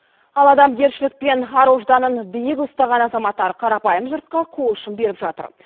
ал адамгершілік пен ар ожданын биік ұстаған азаматтар қарапайым жұртқа қол ұшын беріп жатыр